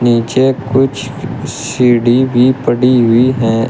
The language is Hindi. पीछे कुछ सीढ़ी भी पड़ी हुई है।